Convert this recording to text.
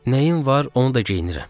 Nəyim var, onu da geyinirəm.